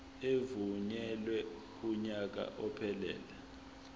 evunyelwe kunyaka ophelele